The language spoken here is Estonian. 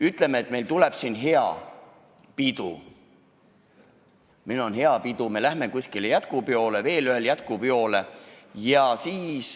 Ütleme, et meil tuleb siin hea pidu, me läheme kuskile jätkupeole, siis veel ühele jätkupeole.